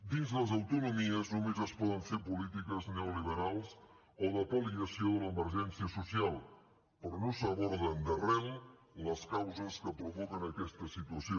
dins les autonomies només es poden fer polítiques neoliberals o de pal·liació de l’emergència social però no s’aborden d’arrel les causes que provoquen aquesta situació